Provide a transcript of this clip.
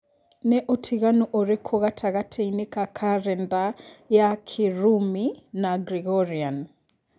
nĩ ũtinganu ũrikũ gatagatiinĩ ka karenda ya kirumi na grigorean